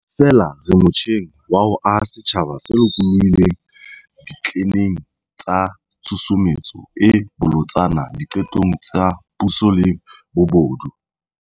Feela re motjheng wa ho aha setjhaba se lokolohileng ditleneng tsa tshusumetso e bolotsana diqetong tsa puso le bobodu.